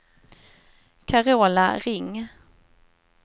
Carola Ring